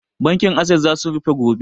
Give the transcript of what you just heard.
Bankin assess za su rufe gobe